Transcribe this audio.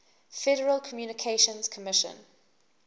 federal communications commission